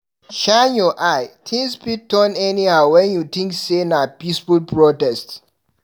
Shine your eye, tins fit turn anyhow when you tink sey na peaceful protest.